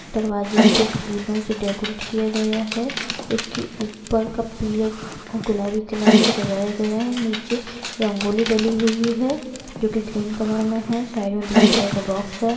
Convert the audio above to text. दरवाजे को फूलो से डेकोरेट किया गया है इसके ऊपर का पिले गुलाबी कलर से सजाया गया है निचे रंगोली डली हुई है जो की ग्रीन कलर में है साइड में ब्लू कलर का बॉक्स है।